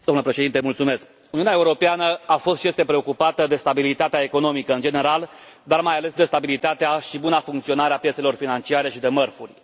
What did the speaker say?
Domnule Președinte, Uniunea Europeană a fost și este preocupată de stabilitatea economică, în general, dar, mai ales, de stabilitatea și buna funcționare a piețelor financiare și de mărfuri.